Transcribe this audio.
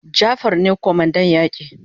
Jafar ne kwamandan yaki